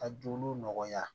Ka joli nɔgɔya